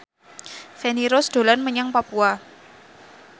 Feni Rose dolan menyang Papua